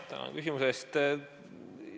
Tänan küsimuse eest!